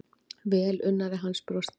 Velunnari hans brosti.